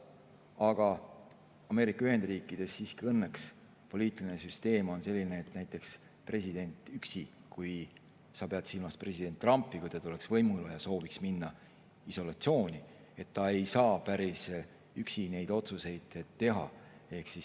Aga Ameerika Ühendriikides on poliitiline süsteem õnneks siiski selline, et näiteks president – kui sa pead silmas president Trumpi, kui ta tuleks võimule ja sooviks minna isolatsiooni – ei saa päris üksi neid otsuseid teha.